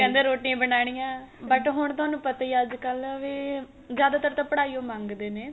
ਕਹਿੰਦੇ ਰੋਟੀਆ ਬਨਾਣੀਆ but ਹੁਣ ਤੁਹਾਨੂੰ ਪਤਾ ਹੀ ਏ ਅੱਜਕਲ ਵੀ ਜਿਆਦਾ ਤਰ ਤਾਂ ਪੜਾਈ ਓ ਮੰਗਦੇ ਨੇ